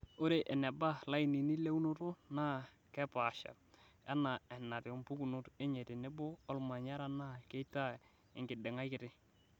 Ore eneba lainini leunoto naa kepaasha, anaa enatiu mpukunot enye tenebo olmanyara naa keitaa enkiding'ai kitii.